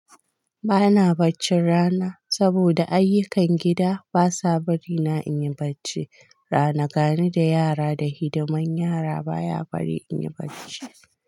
Ba na bacci rana saboda ayyukan gida basa bari na inyi bacci rana. Gani da yara da hidimar yara baya bari inyi bacci.